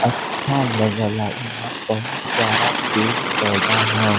अच्छा लगल ह यहाँ बहुत सारा पेड़ पौधा ह।